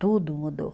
Tudo mudou.